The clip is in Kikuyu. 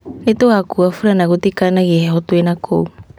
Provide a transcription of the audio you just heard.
Nĩ tugakua fulana gũtikanagie heho twina kũu